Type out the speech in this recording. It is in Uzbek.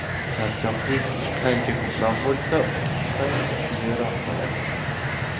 Charchoqlik qancha ko‘proq bo‘lsa, uchish shuncha kuchliroq bo‘ladi.